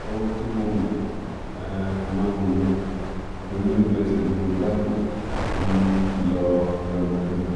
ohun tí mo mọ̀ um mọ nìyẹn nítorí lójúẹsẹ̀ ni mo dákú um lọ rangbọndan